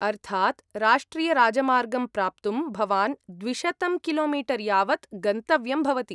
अर्थात् राष्ट्रियराजमार्गं प्राप्तुं भवान् द्विशतं किलोमीटर् यावत् गन्तव्यं भवति।